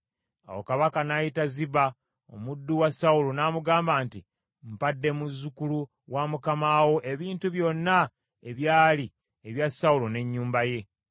Awo kabaka n’ayita Ziba, omuddu wa Sawulo, n’amugamba nti, “Mpadde muzzukulu wa mukama wo ebintu byonna ebyali ebya Sawulo n’ennyumba ye.